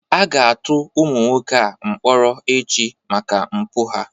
A ga-atụ ụmụ nwoke a mkpọrọ echi maka mpụ ha